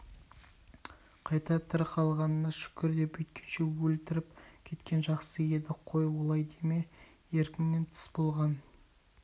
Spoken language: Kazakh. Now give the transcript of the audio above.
қайта тірі қалғаныңа шүкір де бүйткенше өлтіріп кеткен жақсы еді қой олай деме еркіңінен тыс болған